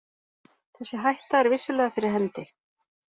Þessi hætta er vissulega fyrir hendi.